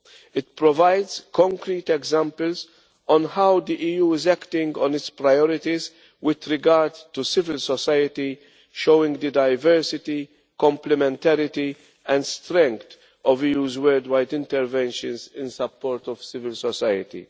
It provides concrete examples of how the EU is acting on its priorities with regard to civil society, showing the diversity, complementarity and strength of the EU's worldwide interventions in support of civil society.